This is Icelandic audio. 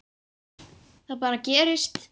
Það bara gerist.